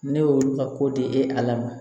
Ne y'olu ka ko di e lama